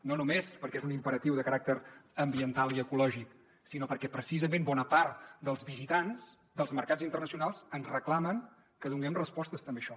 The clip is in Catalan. no només perquè és un imperatiu de caràcter ambiental i ecològic sinó perquè precisament bona part dels visitants dels mercats internacionals ens reclamen que donem respostes també a això